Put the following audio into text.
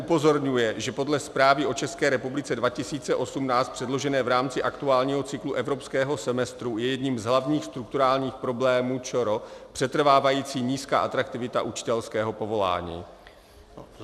"Upozorňuje, že podle Zprávy o České republice 2018 předložené v rámci aktuálního cyklu evropského semestru je jedním z hlavních strukturálních problémů ČR přetrvávající nízká atraktivita učitelského povolání."